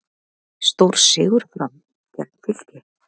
Stórsigur Fram gegn Fylki